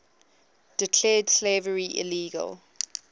declared slavery illegal